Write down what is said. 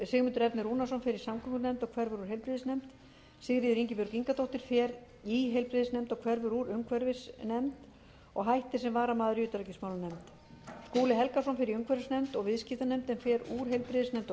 sigmundur ernir rúnarsson fer í samgöngunefnd og hverfur úr heilbrigðisnefnd sigríður ingibjörg ingadóttir fer í heilbrigðisnefnd og hverfur úr umhverfisnefnd og hættir sem varamaður í utanríkismálanefnd skúli helgason fer í umhverfisnefnd og viðskiptanefnd en fer úr heilbrigðisnefnd og